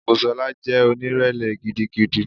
Busola jẹ́ onírẹ̀lẹ̀ gidigidi.